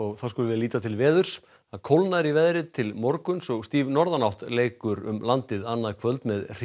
þá skulum við líta til veðurs það kólnar í veðri til morguns og stíf norðanátt leikur um landið annað kvöld með